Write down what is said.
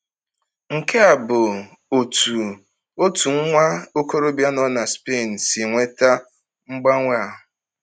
Nke a bụ otú otu nwa okorobịa nọ na Spain si nweta mgbanwe a.